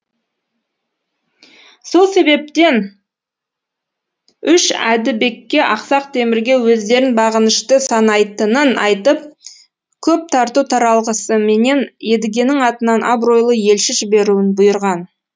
сол себептен үш әдібекке ақсақ темірге өздерін бағынышты санайтынын айтып көп тарту таралғысыменен едігенің атынан абыройлы елші жіберуін бұйырған